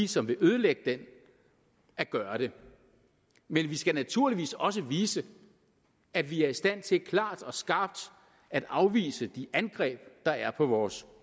som vil ødelægge den at gøre det men vi skal naturligvis også vise at vi er i stand til klart og skarpt at afvise de angreb der er på vores